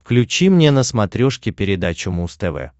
включи мне на смотрешке передачу муз тв